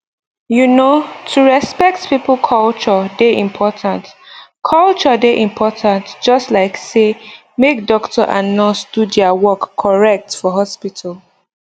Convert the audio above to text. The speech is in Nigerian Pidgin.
you know to respect people culture dey important culture dey important just like say make doctor and nurse do their work correct for hospital